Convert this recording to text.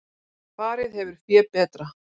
Farið hefur fé betra